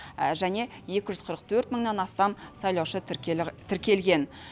және екі жүз қырық төрт мыңнан астам сайлаушы тіркелген